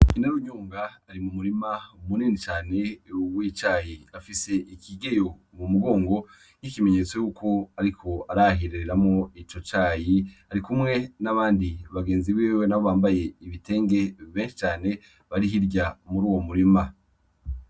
Inarunyonga ari mu murima munini cane w'icayi afis'ikigeyo mumugongo nk'ikimenyetso yuko ariko arahiriramwo ico icayi, arikumwe nabandi bagenzi biwe nabo bambaye ibitenge benshi cane bari hirya muruwo murima.